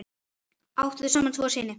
Áttu þau saman tvo syni.